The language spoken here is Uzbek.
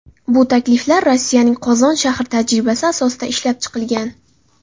Bu takliflar Rossiyaning Qozon shahri tajribasi asosida ishlab chiqilgan.